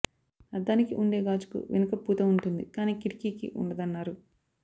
అద్దానికి ఉండే గాజుకు వెనుక పూత ఉంటుంది కానీ కిటికీకి ఉండదన్నారు